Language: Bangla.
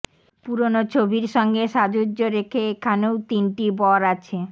পুরোনো ছবির সঙ্গে সাজুয্য রেখে এখানেও তিনটি বর আছে